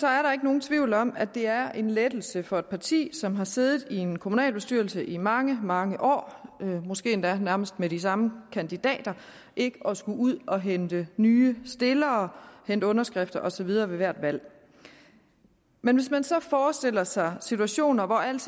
er der ikke nogen tvivl om at det er en lettelse for et parti som har siddet i en kommunalbestyrelse i mange mange år måske endda nærmest med de samme kandidater ikke at skulle ud at hente nye stillere hente underskrifter og så videre ved hvert valg men hvis man så forestiller sig situationer hvor alt